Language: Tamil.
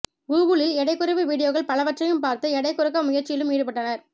கூகுளில் எடை குறைப்பு வீடியோக்கள் பலவற்றையும் பார்த்து எடை குறைக்க முயற்சியிலும் ஈடுப்பட்டனர்